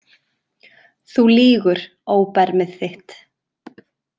Þú lýgur, óbermið þitt